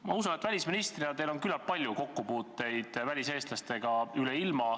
Ma usun, et välisministrina on teil küllap palju kokkupuuteid väliseestlastega üle ilma.